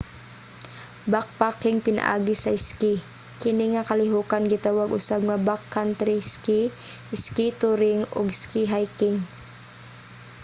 backpacking pinaagi sa iski: kini nga kalihokan gitawag usab nga backcountry ski ski touring o ski hiking